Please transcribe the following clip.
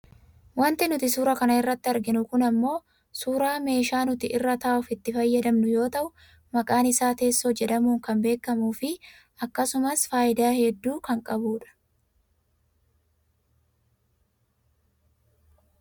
wanti nuti suura kana irratii arginu kun ammoo suuraa meeshaa nuti irra taa'uuf itti fayyadamnu yoo ta'u maqaan isaa teessoo jedhamuun kan bekkamuu fi akkasumas fayidaa hedduu kan qabu dha